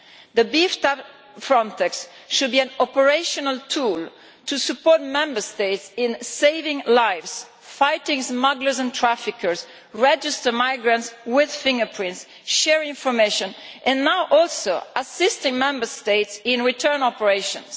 The beefed up Frontex should be an operational tool to support Member States in saving lives, fighting smugglers and traffickers, registering migrants with fingerprints, sharing information and now also assisting Member States in return operations.